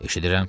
Eşidirəm.